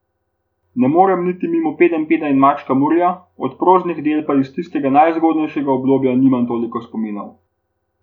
Ne morem niti mimo Pedenjpeda in Mačka Murija, od proznih del pa iz tistega najzgodnejšega obdobja nimam toliko spominov.